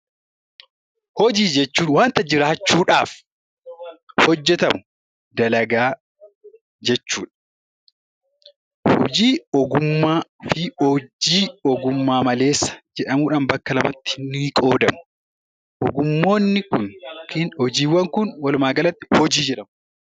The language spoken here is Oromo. Hojii jechuun wanta jiraachuudhaaf hojjetamu dalagaa jechuudha. Hojii ogummaa fi hojii ogummaa malee jedhamuun bakka lamattis ni qoodamu.